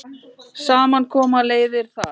Saman koma leiðir þar.